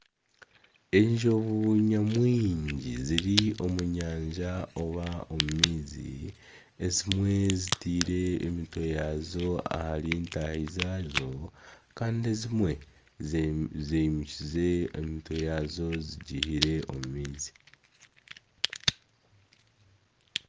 Enjubu nyamwingi ziri omu nyanja oba omu maizi, ezimwe zitaire emitwe yaazo ahari ntaahi zaazo kandi ezimwe zimukize emitwe yaazo zigihire omu maizi